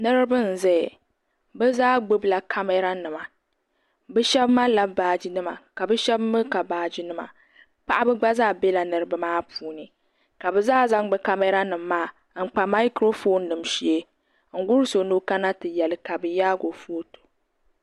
Niriba n zaya bɛ zaa gbibila kamara nima bɛ sheba malila baaji nima shena mee ka baaji nima paɣaba gba zaa bela niriba maa puuni ka bɛ zaa zaŋ bɛ kamara nima maa n kpa maakurofon nima shee n guli so ni o kana ti yeli ka bɛ yaagi o foto.